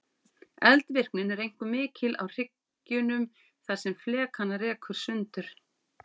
Eldvirknin er einkum mikil á hryggjunum þar sem flekana rekur sundur.